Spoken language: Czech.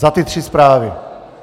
Za ty tři zprávy.